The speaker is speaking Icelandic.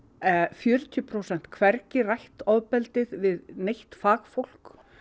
fjörutíu prósent hvergi rætt ofbeldið við neitt fagfólk